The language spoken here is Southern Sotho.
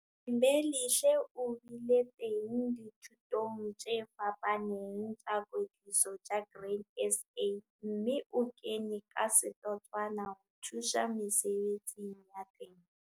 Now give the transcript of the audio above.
Thembelihle o bile teng dithutong tse fapaneng tsa kwetliso tsa Grain SA, mme o kene ka setotswana ho thusa mesebetsing ya temo.